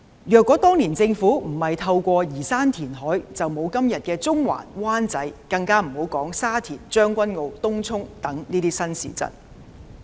若當年政府不進行移山填海，就沒有今天的中環、灣仔，更別說沙田、將軍澳、東涌等新市鎮。